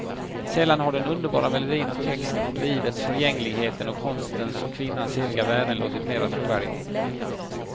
Sällan har den underbara melodin och texten om livets förgängligheten och konstens och kvinnans eviga värden låtit mera trovärdig.